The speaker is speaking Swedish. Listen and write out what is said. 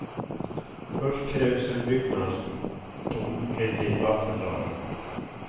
Först krävs en byggnadsdom enligt vattenlagen.